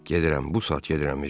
Gedirəm, bu saat gedirəm, Ejən.